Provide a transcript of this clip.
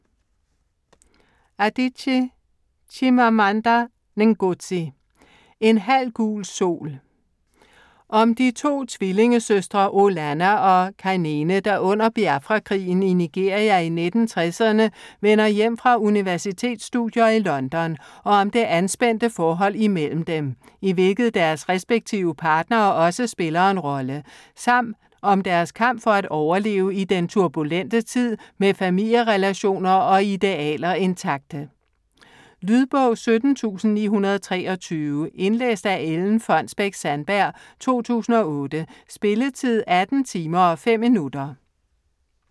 Adichie, Chimamanda Ngozi: En halv gul sol Om de to tvillingesøstre Olanna og Kainene, der under Biafra-krigen i Nigeria i 1960'erne vender hjem fra universitetsstudier i London og om det anspændte forhold imellem dem, i hvilket deres respektive partnere også spiller en rolle, samt om deres kamp for at overleve i den turbulente tid med familierelationer og idealer intakte. Lydbog 17923 Indlæst af Ellen Fonnesbech-Sandberg, 2008. Spilletid: 18 timer, 5 minutter.